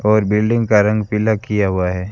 और बिल्डिंग का रंग पीला किया हुआ है।